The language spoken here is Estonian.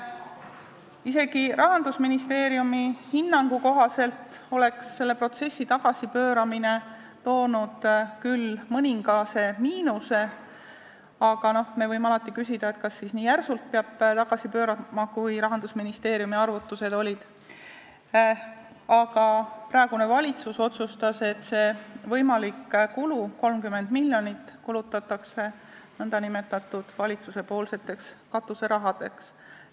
Isegi Rahandusministeeriumi hinnangu kohaselt oleks selle protsessi tagasipööramine toonud küll mõningase miinuse – me võime alati küsida, kas siis peab tagasi pöörama nii järsult, nagu olid Rahandusministeeriumi arvutused –, aga praegune valitsus otsustas, et see võimalik kulu, 30 miljonit, kulutatakse nn valitsuspoolseks katuserahaks.